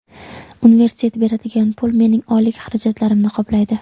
Universitet beradigan pul mening oylik xarajatlarimni qoplaydi.